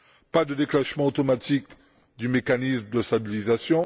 pas de déclenchement automatique du mécanisme de stabilisation